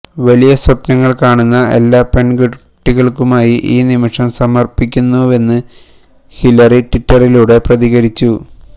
വലിയ സ്വപ്നങ്ങള് കാണുന്ന എല്ലാ പെണ്കുട്ടികള്ക്കുമായി ഈ നിമിഷം സമര്പ്പിക്കുന്നുവെന്ന് ഹിലരി ട്വിറ്ററിലൂടെ പ്രതികരിച്ചു